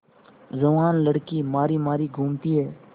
जवान लड़की मारी मारी घूमती है